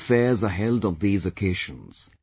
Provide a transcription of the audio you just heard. Many fairs are held on these occasions